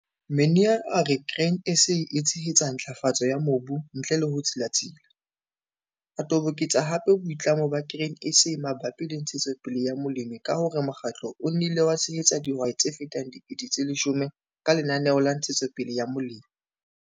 Minaar a re Grain SA e tshehetsa ntlafatso ya mobu ntle le ho tsilatsila, a toboketsa hape boitlamo ba Grain SA mabapi le ntshetsopele ya molemi ka ho re mokgatlo o nnile wa tshehetsa dihwai tse fetang 10 000 ka Lenaneo la Ntshetsopele ya Molemi.